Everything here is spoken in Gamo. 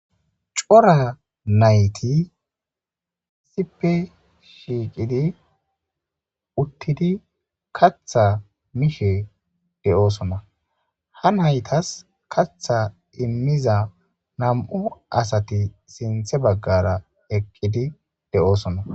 Cora nayit kehippe shiqiddi uttidi kaththa mishshe dosona ha nayitas kaththa imiza namu asati sinththe baggara eqidi deosoona